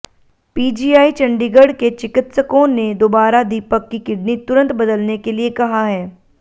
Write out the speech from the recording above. PGI Chandigarh के चिकित्सकों ने दोबारा दीपक की किडनी तुरंत बदलने के लिए कहा है